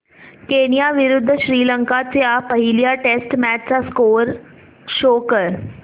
Kenya विरुद्ध श्रीलंका च्या पहिल्या टेस्ट मॅच चा स्कोअर शो कर